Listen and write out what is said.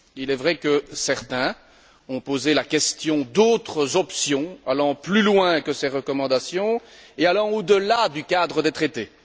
Il est vrai que certains ont posé la question d'autres options allant plus loin que ces recommandations et allant au delà du cadre des traités.